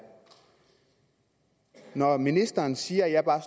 at når ministeren siger at jeg bare